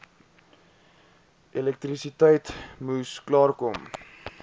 elektrisiteit moes klaarkom